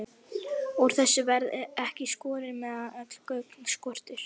Úr þessu verður ekki skorið, meðan öll gögn skortir.